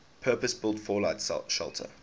purpose built fallout shelter